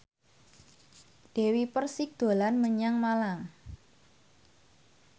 Dewi Persik dolan menyang Malang